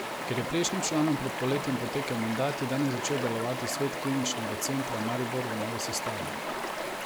Ker je prejšnjim članom pred poletjem potekel mandat, je danes začel delovati svet kliničnega centra Maribor v novi sestavi.